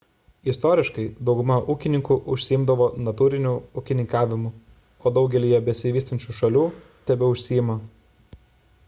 istoriškai dauguma ūkininkų užsiimdavo natūriniu ūkininkavimu o daugelyje besivystančių šalių tebeužsiima